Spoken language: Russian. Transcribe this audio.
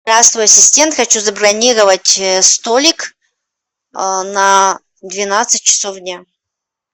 здравствуй ассистент хочу забронировать столик на двенадцать часов дня